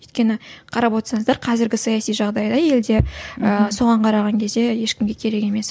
өйткені қарап отырсаңыздар қазіргі саяси жағдайда елде ыыы соған қараған кезде ешкімге керек емес